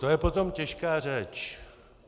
To je potom těžká řeč.